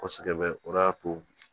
Kosɛbɛ o de y'a to